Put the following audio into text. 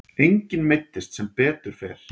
Enginn meiddist sem betur fer.